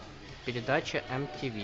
передача мтв